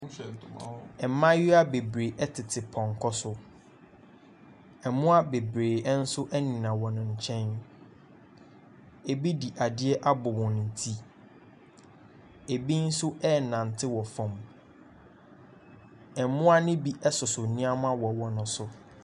Mmayewa bebree tete tete pɔnkɔ so. Mmoa beberee nso nenam wɔn nkyɛn. Ɛbide adeɛ abɔ wɔn ti, ɛbi nso renante wɔ fam. Mmoa no bi soso nnneɛma wɔ wɔn so.